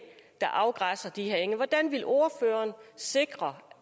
der afgræsser de her enge hvordan vil ordføreren sikre